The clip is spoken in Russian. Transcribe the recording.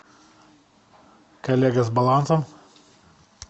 коллега с балансом